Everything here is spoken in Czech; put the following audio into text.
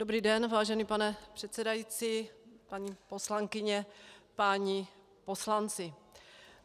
Dobrý den vážený pane předsedající, paní poslankyně, páni poslanci.